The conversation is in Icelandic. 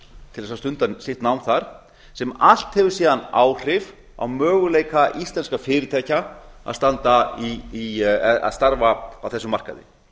til þess að stunda sitt nám þar sem allt hefur síðan áhrif á möguleika íslenskra fyrirtækja að starfa á þessum markaði